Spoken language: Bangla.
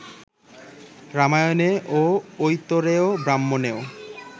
রামায়ণে ও ঐতরেয় ব্রাহ্মণেও